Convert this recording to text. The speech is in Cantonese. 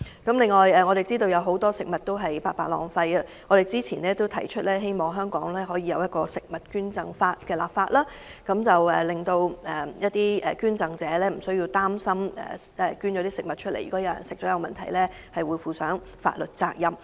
另一方面，我們知道有很多食物被白白浪費，因此早前曾建議本港制定食物捐贈法，令捐贈者不必擔心有人在進食其所捐贈的食物後發生任何問題時，須負上法律責任。